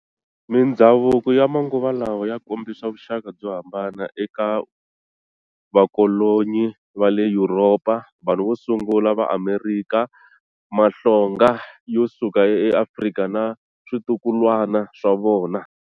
Mindzhavuko ya manguva lawa ya kombisa vuxaka byo hambana eka vakolonyi va le Yuropa, vanhu vo sungula va Amerikha, mahlonga yo suka eAfrika na switukulwana swa vona.